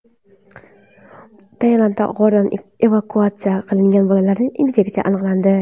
Tailanddagi g‘ordan evakuatsiya qilingan bolalarda infeksiya aniqlandi.